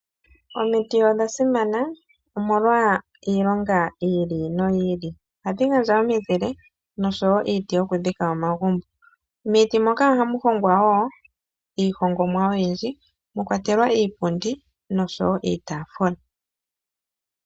Omiti odha simana, omolwa iilonga yawo yi ili noyi ili. Ohadhi gandja omizile, noshowo iiti yokudhika omagumbo. Miiti moka ohamu hongwa wo iihongomwa oyindji, mwa kwatelwa iipundi, noshowo iitaafula.